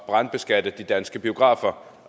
brandbeskatte de danske biografer